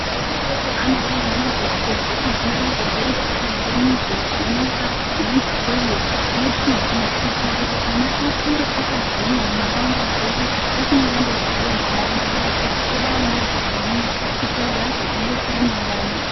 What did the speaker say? Ana adoko anobairwa majekiseni ekudziirira zvirwere zvakadai nge mizolzi nyoka inonzi poliyo ne TB kuitira kuti ana akure akagwinya munharauanda dzedu asingandorwari rwari ngendayaa yekuti tode ana akagwinya kuti azotidetsera mangwani.